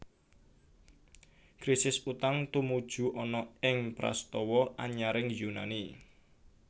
Krisis utang tumuju ana ing prastawa anyaring Yunani